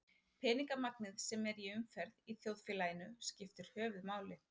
Peningamagnið sem er í umferð í þjóðfélaginu skiptir höfuðmáli.